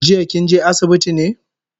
Jiya kinje asibiti ne?